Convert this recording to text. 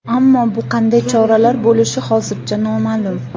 Ammo bu qanday choralar bo‘lishi hozircha noma’lum.